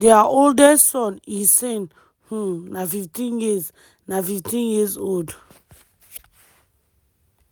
dia eldest son ihsen um na15 years na15 years old.